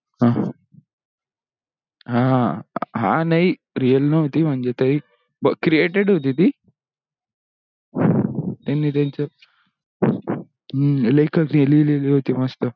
हा हा नाही real नहोती म्हणजे तरी created होती ती त्यांनी त्यांच हम्म लेखक ने लिहलेली होती मस्त